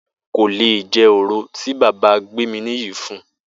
Bó̩lá kò lè je̩ òro tí bàbá Gbéminiyì fun